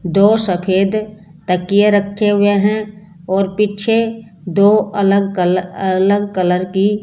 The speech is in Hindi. दो सफेद तकीए रखे हुए हैं और पीछे दो अलग अलग कलर की --